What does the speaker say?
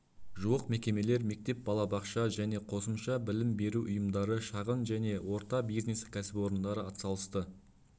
жуық мекемелер мектеп балабақша және қосымша білім беру ұйымдары шағын және орта бизнес кәсіпорындары атсалысты